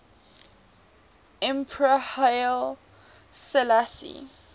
emperor haile selassie